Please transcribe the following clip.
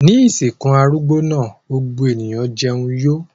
Ní ìsìnkú arúgbó náà gbogbo ènìyàn jẹun yó.